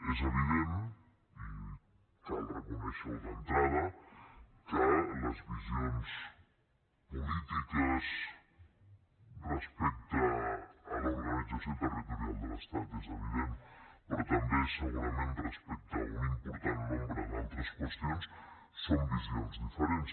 és evident i cal reconèixer ho d’entrada que les visions polítiques respecte a l’organització territorial de l’estat són diferents però també segurament respecte a un important nombre d’altres qüestions són visions diferents